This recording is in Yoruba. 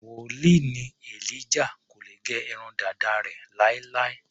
Wòlíì ni Elijah, kò lè gẹ irun dàda rẹ̀ láéláé.